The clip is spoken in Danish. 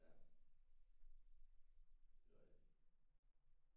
Ja det rigtigt